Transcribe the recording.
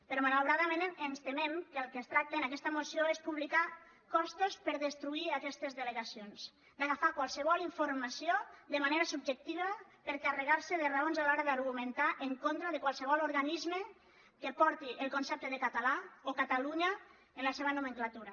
però malauradament ens temem que del que es tracta en aquesta moció és de publicar costos per destruir aquestes delegacions d’agafar qualsevol informació de manera subjectiva per carregar se de raons a l’hora d’argumentar en contra de qualsevol organisme que porti el concepte de català o catalunya en la seva nomenclatura